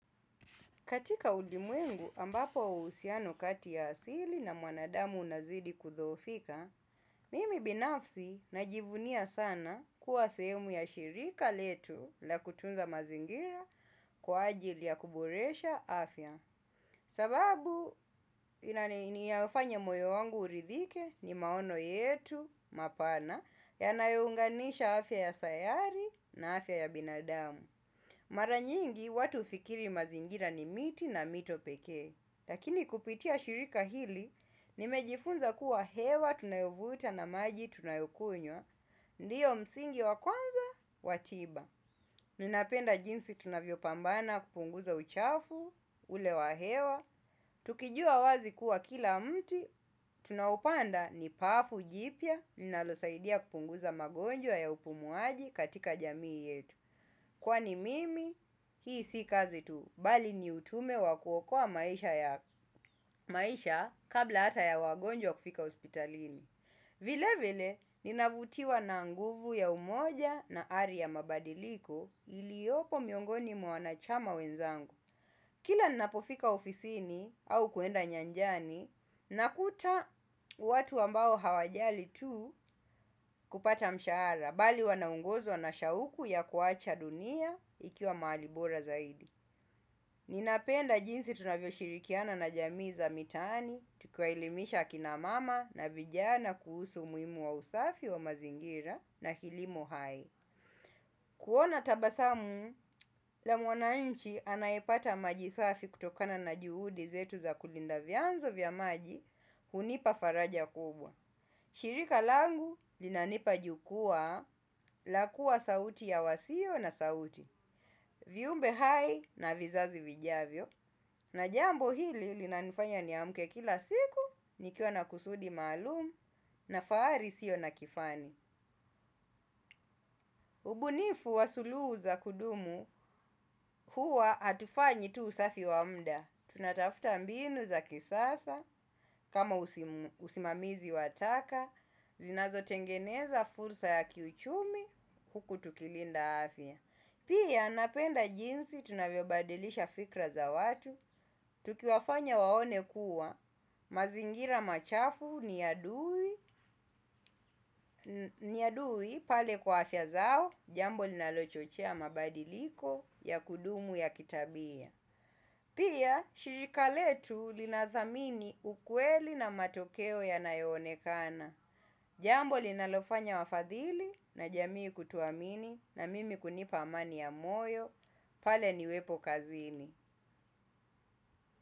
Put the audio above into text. Katika ulimwengu ambapo uhusiano kati ya asili na mwanadamu unazidi kudhoofika, mimi binafsi najivunia sana kuwa sehemu ya shirika letu la kutunza mazingira kwa ajili ya kuboresha afya. Sababu inayofanya moyo wangu uridhike ni maono yetu mapana yanayounganisha afya ya sayari na afya ya binadamu. Mara nyingi watu hufikiri mazingira ni miti na mito peke, lakini kupitia shirika hili, nimejifunza kuwa hewa tunayovuta na maji tunayokunywa, ndiyo msingi wa kwanza, wa tiba. Ninapenda jinsi tunavyopambana kupunguza uchafu, ule wa hewa, tukijua wazi kuwa kila mti, tunaoupanda ni pafu, jipya, ninalosaidia kupunguza magonjwa ya upumuaji katika jamii yetu. Kwani mimi, hii si kazi tu, bali ni ujumbe wa kuokoa maisha ya maisha kabla hata ya wagonjwa kufika hospitalini. Vile vile, ninavutiwa na nguvu ya umoja na ari ya mabadiliko iliyopo miongoni mwa wanachama wenzangu. Kila nnapofika ofisini au kuenda nyanjani, nakuta watu ambao hawajali tu kupata mshahara bali wanaongozwa na shauku ya kuacha dunia ikiwa mahali bora zaidi. Ninapenda jinsi tunavyoshirikiana na jamii za mitaani, tukiwaelimisha kina mama na vijana kuhusu umuhimu wa usafi wa mazingira na kilimo hai. Kuona tabasamu, la mwananchi anaepata majisafi kutokana na juhudi zetu za kulinda vyanzo vya maji, hunipa faraja kubwa. Shirika langu linanipa jukwaa la kua sauti ya wasio na sauti, viumbe hai na vizazi vijavyo, na jambo hili linanifanya niamke kila siku, nikiwa na kusudi maalum na fahari isiyo na kifani. Ubunifu wa sulugu za kudumu huwa hatufanyi tu usafi wa muda. Tunatafuta mbinu za kisasa kama usimamizi wa taka, zinazotengeneza fursa ya kiuchumi huku tukilinda afya. Pia napenda jinsi tunavyobadilisha fikra za watu. Tukiwafanya waone kuwa mazingira machafu ni adui pale kwa afya zao. Jambo linalochochea mabadiliko ya kudumu ya kitabia. Pia shirika letu linathamini ukweli na matokeo yanayoonekana. Jambo linalofanya wafadhili na jamii kutuamini na mimi kunipa amani ya moyo. Pale ni wepo kazini.